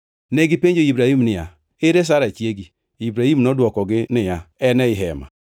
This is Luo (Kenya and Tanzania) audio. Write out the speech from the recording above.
Negipenjo Ibrahim niya, “Ere Sara chiegi?” Ibrahim nodwokogi niya, “En ei hema.”